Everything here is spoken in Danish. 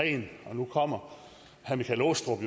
nu kommer herre michael aastrup